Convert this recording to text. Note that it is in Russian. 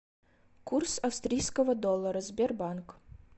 курс австрийского доллара сбербанк